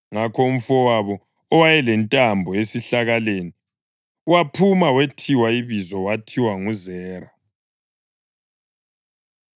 Ngakho umfowabo, owayelentambo esihlakaleni, waphuma wethiwa ibizo wathiwa nguZera.